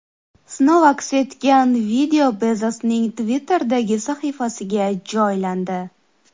Sinov aks etgan video Bezosning Twitter’dagi sahifasiga joylandi .